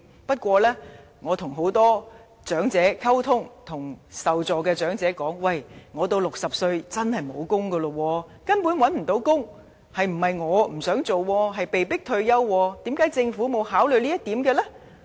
不過，我與很多長者溝通，聽到不少受助長者說："我到60歲時，真的沒有工作，因為根本找不到工作，並非我不想工作，我是被迫退休，為甚麼政府沒有考慮這一點呢？